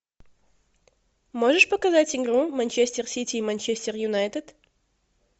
можешь показать игру манчестер сити и манчестер юнайтед